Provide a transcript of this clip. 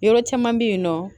Yɔrɔ caman be yen nɔ